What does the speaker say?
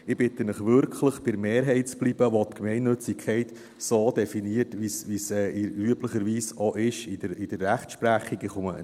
Ich bitte Sie wirklich, bei der Mehrheit zu bleiben, welche die Gemeinnützigkeit so definiert, wie es üblicherweise auch in der Rechtsprechung ist;